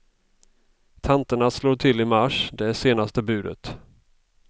Tanterna slår till i mars, det är senaste budet.